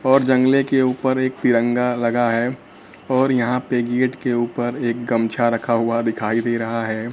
और जंगले के ऊपर एक तिरंगा लगा है और यहां पे गेट के ऊपर एक गमछा रखा हुआ दिखाई दे रहा है।